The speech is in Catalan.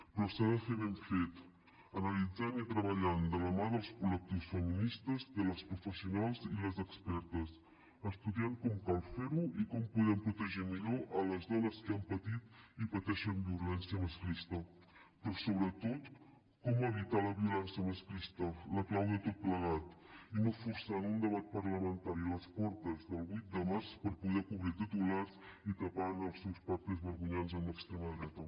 però s’ha de fer ben fet analitzant i treballant de la mà dels col·lectius feministes de les professionals i les expertes estudiant com cal fer ho i com podem protegir millor les dones que han patit i pateixen violència masclista però sobretot com evitar la violència masclista la clau de tot plegat i no forçant un debat parlamentari a les portes del vuit de març per poder cobrir titulars i tapant els seus pactes vergonyants amb l’extrema dreta